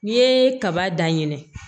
N'i ye kaba dan ɲinɛn